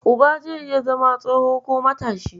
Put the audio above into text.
Uba zai iya zama tsoho ko matashi.